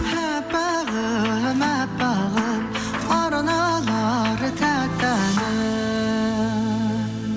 әппағым әппағым арналар тәтті әнім